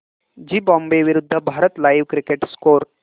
Zimbabwe विरूद्ध Bharat live cricket score